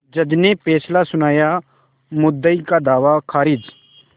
जज ने फैसला सुनायामुद्दई का दावा खारिज